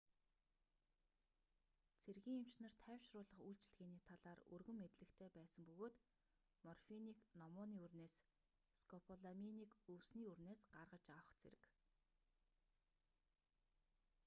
цэргийн эмч нар тайвшруулах үйлчилгээний талаар өргөн мэдлэгтэй байсан бөгөөд морфинийг номууны үрнээс скополаминийг өвсний үрнээс гаргаж авах зэрэг